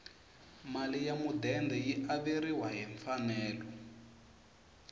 mali ya mudende yi averiwa hi mfanelo